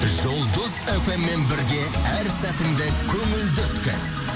жұлдыз фм мен бірге әр сәтіңді көңілді өткіз